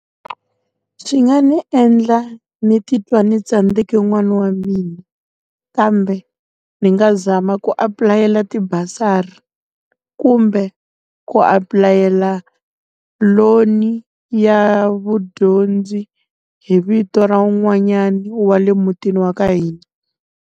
Swi nga ndzi endla ndzi titwa ndzi tsandzeke n'wana wa mina. Kambe ndzi nga zama ku apulayela ti-bursary, ku kumbe ku apulayela loan ya vudyondzi hi vito ra wun'wanyana wa le mutini wa ka hina.